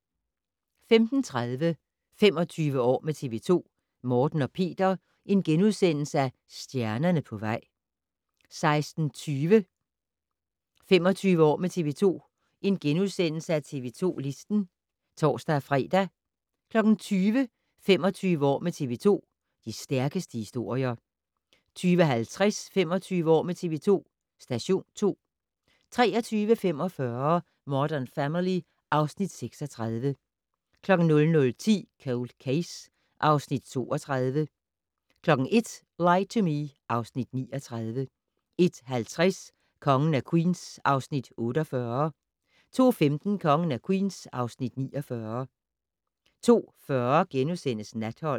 15:30: 25 år med TV 2: Morten og Peter - stjernerne på vej * 16:20: 25 år med TV 2: TV 2 Listen *(tor-fre) 20:00: 25 år med TV 2: De stærkeste historier 20:50: 25 år med TV 2: Station 2 23:45: Modern Family (Afs. 36) 00:10: Cold Case (Afs. 32) 01:00: Lie to Me (Afs. 39) 01:50: Kongen af Queens (Afs. 48) 02:15: Kongen af Queens (Afs. 49) 02:40: Natholdet *